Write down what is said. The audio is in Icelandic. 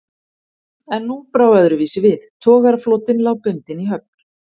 En nú brá öðruvísi við, togaraflotinn lá bundinn í höfn.